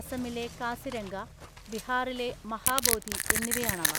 അസമിലെ കാസിരംഗ, ബിഹാറിലെ മഹാബോധി എന്നിവയാണവ.